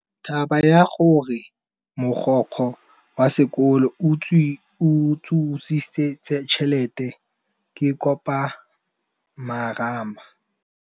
Taba ya gore mogokgo wa sekolo o utswitse tšhelete ke khupamarama.